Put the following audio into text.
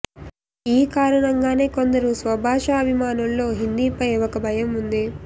ఈ కారణంగానే కొందరు స్వభాషాభిమానుల్లో హిందీ పై ఒక భయం ఉంది